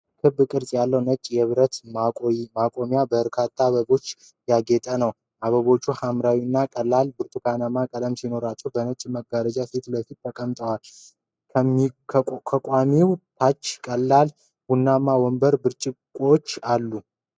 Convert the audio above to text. ክብ ቅርጽ ያለው ነጭ የብረት ማቆሚያ በበርካታ አበቦች ያጌጠ ነው፡፡ አበቦቹ ሐምራዊና ቀላል ብርቱካናማ ቀለም ሲኖራቸው በነጭ መጋረጃ ፊት ለፊት ተቀምጠዋል፡፡ ከማቆሚያው ታች ቀላል ቡናማ ወንበርና ብርጭቆዎች አሉ፡፡